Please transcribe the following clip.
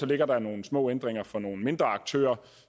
ligger der nogle små ændringer for nogle mindre aktører